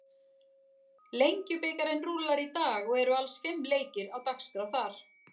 Lengjubikarinn rúllar í dag og eru alls fimm leikir á dagskrá þar.